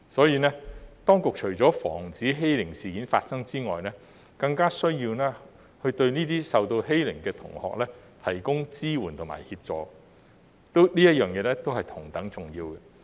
因此，當局除了防止欺凌事件發生外，更加需要對這些受到欺凌的同學提供支援和協助，這一點是同等重要的。